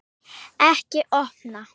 Ekki opna